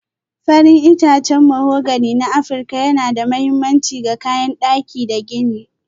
Farin itacen mahogani na Afirka yana da mahimmanci ga kayan daki da gini.